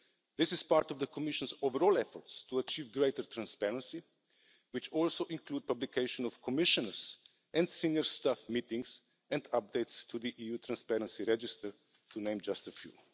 This is part of the Commission's overall efforts to achieve greater transparency, which also includes publication of Commissioners' and senior staff meetings and updates to the EU transparency register, to name just a few.